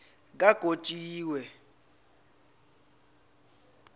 kagotjiwe